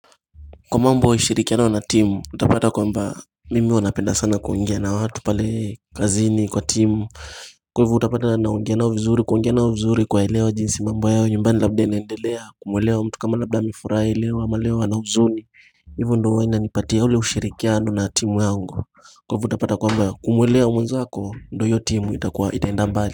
Kwa mambo ya ushirikiano na timu utapata kwamba mimi huwa napenda sana kuongea na watu pale kazini kwa timu Kwa hivo utapata na ongea nao vizuri kuongea na vizuri kuwa elewa jinsi mambo yao nyumbani labda inaendelea kumwelewa mtu kama labda amifurahi elewa ama leo ana huzuni Hivo ndo huwa inanipatia ule ushirikiano na timu yangu kwa hivo utapata kwamba kumwelewa mwenzako ndo hiyo timu itaenda mbali.